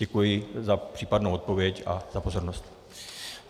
Děkuji za případnou odpověď a za pozornost.